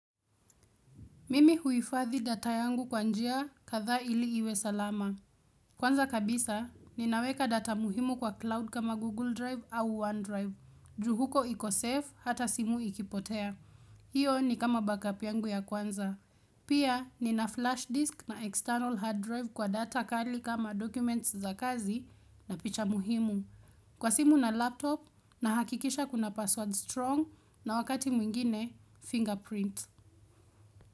Mimi huifadhi data yangu kwa njia kadhaa ili iwe salama. Kwanza kabisa, ninaweka data muhimu kwa cloud kama Google Drive au OneDrive. Ju huko iko safe hata simu ikipotea. Hiyo ni kama backup yangu ya kwanza. Pia, nina flash disk na external hard drive kwa data kali kama documents za kazi na picha muhimu. Kwa simu na laptop nahakikisha kuna password strong na wakati mwingine fingerprint.